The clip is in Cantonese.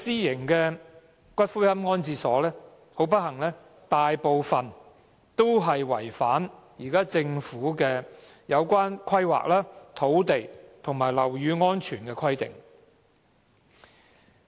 很不幸，這些私營龕場大部分都違反現行的有關規劃、土地及樓宇安全的規定。